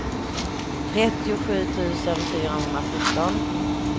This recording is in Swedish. trettiosju tusen fyrahundrasjutton